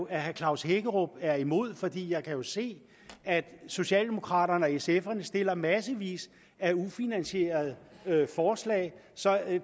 at herre klaus hækkerup er imod for jeg kan jo se at socialdemokraterne og sf stiller massevis af ufinansierede forslag så